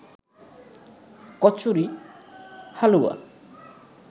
kachori, হালুয়া